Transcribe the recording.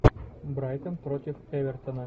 брайтон против эвертона